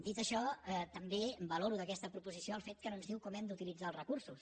dit això també valoro d’aquesta proposició el fet que no ens diu com hem d’utilitzar els recursos